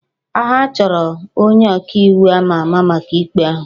Ha chọrọ onye ọka iwu àmá àmá maka ikpe ahụ